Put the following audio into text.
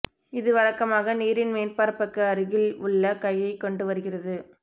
இது வழக்கமாக நீரின் மேற்பரப்புக்கு அருகில் உள்ள கையை கொண்டு வருகிறது